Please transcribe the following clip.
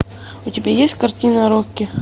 у тебя есть картина рокки